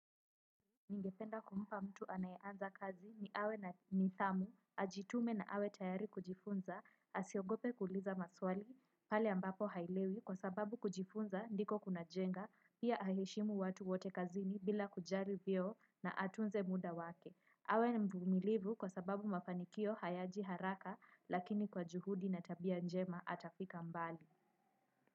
Ningependa kumpa mtu anayeanza kazi ni awe na nidhamu, ajitume na awe tayari kujifunza, asiogope kuuliza maswali pale ambapo haelewi kwa sababu kujifunza ndiko kuna jenga, pia aheshimu watu wote kazini bila kujali vyeo na atunze muda wake. Awe mvumilivu kwa sababu mafanikio hayaji haraka lakini kwa juhudi na tabia njema atafika mbali.